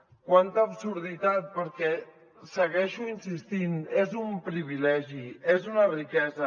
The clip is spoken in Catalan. quanta absurditat perquè hi segueixo insistint és un privilegi és una riquesa